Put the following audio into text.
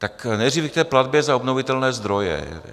Tak nejdříve k té platbě za obnovitelné zdroje.